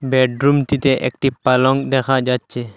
বেডরুমটিতে একটি পালঙ দেখা যাচ্ছে।